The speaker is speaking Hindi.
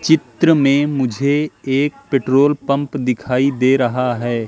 चित्र में मुझे एक पेट्रोल पंप दिखाई दे रहा है।